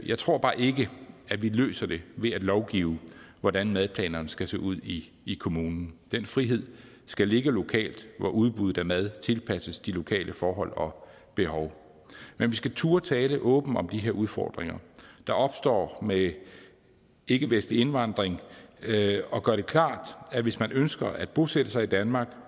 jeg tror bare ikke at vi løser det ved at lovgive om hvordan madplanerne skal se ud i kommunen den frihed skal ligge lokalt hvor udbuddet af mad tilpasses de lokale forhold og behov men vi skal turde tale åbent om de her udfordringer der opstår med ikkevestlig indvandring og gøre det klart at hvis man ønsker at bosætte sig i danmark